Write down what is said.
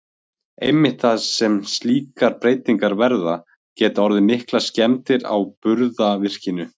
Einmitt þar sem slíkar breytingar verða, geta orðið miklar skemmdir á burðarvirkinu.